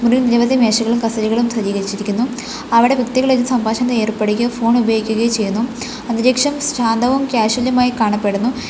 മുറിയിൽ നിരവധി മേശകളും കസേരകളും സജ്ജീകരിച്ചിരിക്കുന്നു അവടെ വ്യക്തികൾ ഇരുന്ന് സംഭാഷണത്തിൽ ഏർപ്പെടുകയോ ഫോൺ ഉപയോഗിക്കുകയോ ചെയ്യുന്നു അന്തരീക്ഷം ശാന്തവും കാഷ്വലും ആയി കാണപ്പെടുന്നു.